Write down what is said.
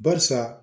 Barisa